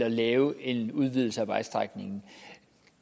at lave en udvidelse af vejstrækningen